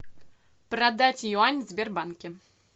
продать юань в сбербанке